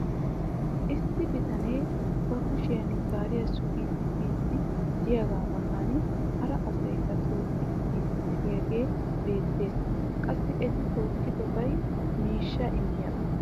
issi bitanee ba kushshiyan gaariya sugiidi biidi diyaagaa matan hara asaykka tookkidi biidi diyaagee beetees. qassi eti tookidobaykka miishshaa immiyaaba.